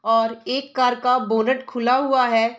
और एक कार का बोनट खुला हुआ है।